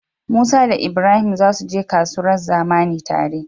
musa da ibrahim zasu je kasuwar zamani tare